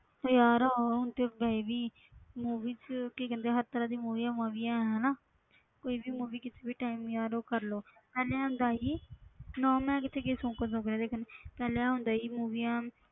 ਤੇ ਯਾਰ ਹੁਣ ਤੇ ਵੈਸੇ ਵੀ movie thea~ ਕੀ ਕਹਿੰਦੇ ਹਰ ਤਰ੍ਹਾਂ ਦੀਆਂ movies ਮਾਵੀਆਂ ਹੈ ਹਨਾ ਕੋਈ ਵੀ movie ਕਿਸੇ ਵੀ time ਯਾਰ ਉਹ ਕਰ ਲਓ ਪਹਿਲੇ ਹੁੰਦਾ ਸੀ ਨਾ ਮੈਂ ਕਿਤੇ ਗਈ ਸੌਂਕਣ ਸੌਂਕਣ ਦੇਖਣ ਪਹਿਲੇ ਹੁੰਦਾ ਸੀ movies